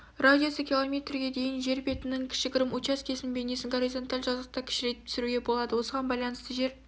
радиусы км-ге дейін жер бетінің кішігірім учаскесінің бейнесін горизонталь жазықтыққа кішірейтіп түсруге болады осыған байланысты жер